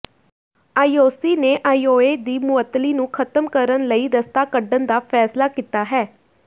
IOC ਨੇ IOA ਦੀ ਮੁਅੱਤਲੀ ਨੂੰ ਖਤਮ ਕਰਨ ਲਈ ਰਸਤਾ ਕੱਢਣ ਦਾ ਫੈਸਲਾ ਕੀਤਾ ਹੈ